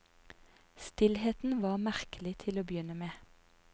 Stillheten var merkelig til å begynne med.